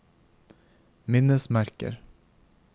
minnesmerker